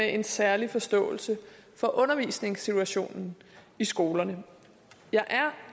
en særlig forståelse for undervisningssituationen i skolerne jeg er jo